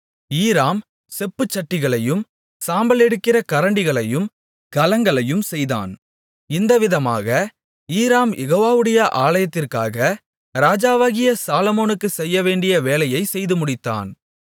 ஈராம் செப்புச்சட்டிகளையும் சாம்பலெடுக்கிற கரண்டிகளையும் கலங்களையும் செய்தான் இந்தவிதமாக ஈராம் யெகோவாவுடைய ஆலயத்திற்காக ராஜாவாகிய சாலொமோனுக்குச் செய்யவேண்டிய வேலையைச் செய்துமுடித்தான்